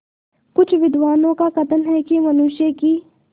कुछ विद्वानों का कथन है कि मनुष्य की